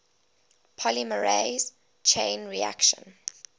polymerase chain reaction